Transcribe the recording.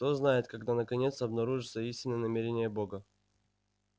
кто знает когда наконец обнаружатся истинные намерения бога